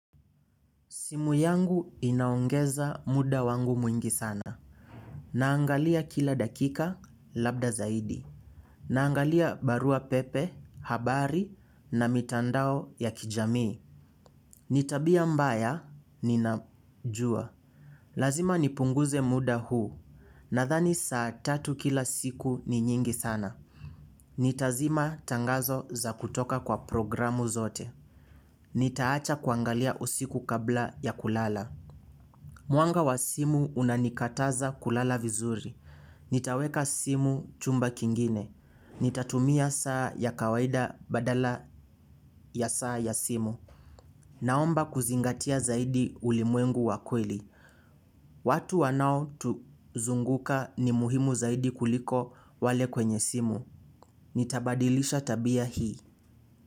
Simu yangu inaongeza muda wangu mwingi sana. Naangalia kila dakika labda zaidi. Naangalia barua pepe, habari na mitandao ya kijamii. Nitabia mbaya ninajua. Lazima nipunguze muda huu. Nadhani saa tatu kila siku ni nyingi sana. Nitazima tangazo za kutoka kwa programu zote. Nitaacha kuangalia usiku kabla ya kulala. Mwanga wa simu unanikataza kulala vizuri. Nitaweka simu chumba kingine. Nitatumia saa ya kawaida badala ya saa ya simu. Naomba kuzingatia zaidi ulimwengu wakweli. Watu wanao tuzunguka ni muhimu zaidi kuliko wale kwenye simu. Nitabadilisha tabia hii.